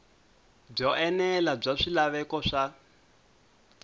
byo enela bya swilaveko swa